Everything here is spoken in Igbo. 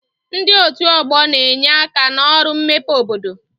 Ndi otu ọgbọ na-enye aka n'ọrụ mmepe obodo